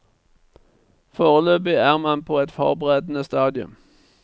Foreløpig er man på et forberedende stadium.